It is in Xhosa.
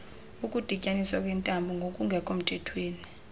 ukudityaniswa kweentambo ngokungekhomthethweni